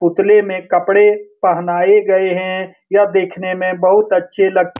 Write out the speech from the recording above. पुतले में कपड़े पहनाए गए हैं यह देखने में बहुत अच्छे लग --